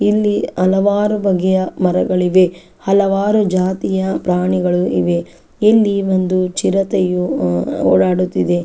ಇಲ್ಲಿ ಹಲವಾರು ಬಗೆಯ ಮರಗಳು ಇವೆ ಹಲವಾರು ಜಾತಿಯ ಪ್ರಾಣಿಗಳು ಇವೆ. ಇಲ್ಲಿ ಒಂದು ಚಿರೆತೆಯೂ ಅಹ್ ಅಹ್ ಓಡಾಡುತ್ತಿದೆ.